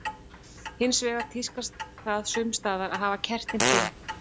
Hins vegar tíðkast það sums staðar að hafa kertin fimm.